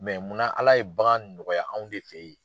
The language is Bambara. munna Ala ye bagan nɔgɔya anw de fe yen ?